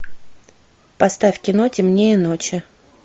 поставь кино темнее ночи